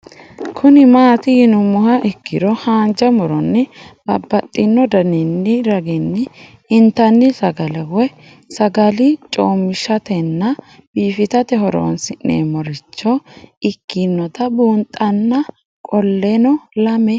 Kuni mati yinumoha ikiro hanja muroni babaxino daninina ragini intani sagale woyi sagali comishatenna bifisate horonsine'morich ikinota bunxana qoleno lame